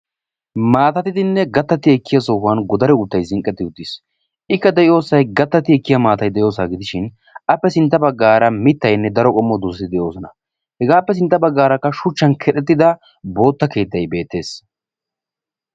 Maattatiddinne gatatti ekkiya sohuwan godare uuttay zinqqetti uttiis. ikka De'iyo sohoy gattatiya maattatidda sohuwa gidishin appe sintta baggara mittaynne daro qommo doozati de'oosona. hegappe sintta baggarakka shuchchan kexxetida boota keettay beettees.